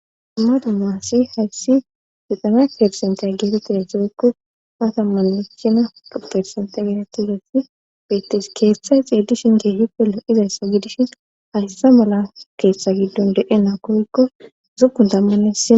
dumma dumasi hayssi dutame persentaya geetettida doeykku hatammanechina opersente geetetigati betis keeththay xeedishinte hipollo izayssa gidishin haysse mala keeththa giddon de7e naakoykko zukun dammanessia